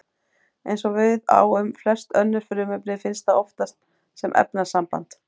Eins og við á um flest önnur frumefni finnst það oftast sem efnasamband.